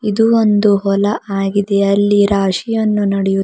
ಇದು ಒಂದು ಹೊಲ ಆಗಿದೆ ಅಲ್ಲಿ ರಾಶಿಯನ್ನು ನಡೆಯು--